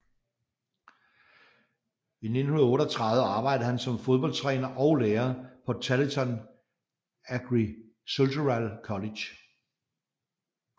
I 1938 arbejdede han som fodboldtræner og lærer på Tarleton Agricultural College